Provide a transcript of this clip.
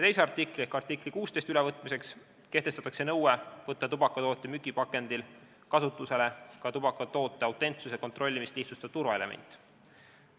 Teise artikli ehk artikli 16 ülevõtmiseks kehtestatakse nõue võtta tubakatoodete müügipakendil kasutusele ka tubakatoote autentsuse kontrollimist lihtsustav turvaelement.